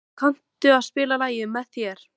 Hængur, kanntu að spila lagið „Með þér“?